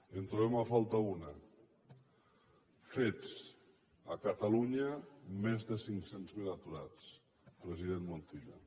en trobem a faltar una fets a catalunya més de cinc cents miler aturats president montilla